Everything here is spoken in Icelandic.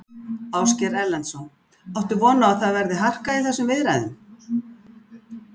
Ásgeir Erlendsson: Áttu von á að það verði harka í þessum viðræðum?